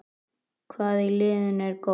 Hvað í liðinu er gott?